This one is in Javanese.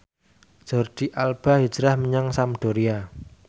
Jordi Alba hijrah menyang Sampdoria